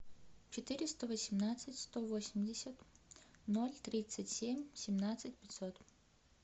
четыреста восемнадцать сто восемьдесят ноль тридцать семь семнадцать пятьсот